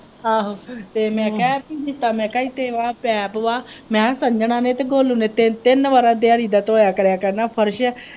ਆਹੋ ਤੇ ਮੈਂ ਕਿਹਾ ਪੀ ਇੱਥੇ ਇੱਕ ਪਾਇਪ ਵਾ ਮੈਂ ਕਿਹਾ ਸੰਜਨਾਂ ਨੇ ਤੇ ਗੋਲੇ ਨੇ ਦਿਹਾੜੀ ਦਾ ਤਿੰਨ ਤਿੰਨ ਵਾਰੀ ਧੋਇਆ ਕਰ ਫਰਸ਼।